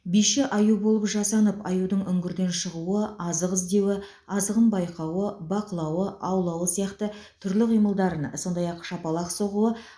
биші аю болып жасанып аюдың үңгірден шығуы азық іздеуі азығын байқауы бақылауы аулауы сияқты түрлі қимылдарын сондай ақ шапалақ соғуы